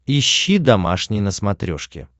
ищи домашний на смотрешке